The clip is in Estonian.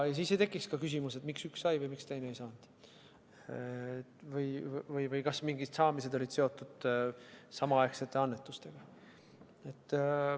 Siis ei tekiks ka küsimus, miks üks sai või miks teine ei saanud või kas mingid saamised olid seotud samaaegsete annetustega.